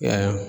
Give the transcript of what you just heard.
Ya